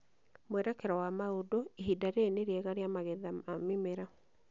Mwerekero wa mau͂ndu͂, ihinda riri ni͂ riega rĩa magetha ya mi͂mera.